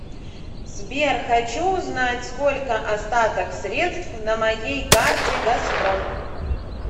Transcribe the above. сбер хочу узнать сколько остаток средств на моей карте газпром